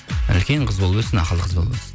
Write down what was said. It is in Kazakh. үлкен қыз болып өссін ақылды қыз болып